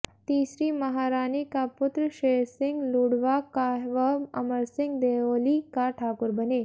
तीसरी महारानी का पुत्र शेरसिंह लूणवा का व अमरसिंह देओली का ठाकुर बने